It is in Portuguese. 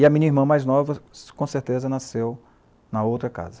E a minha irmã mais nova com certeza nasceu na outra casa.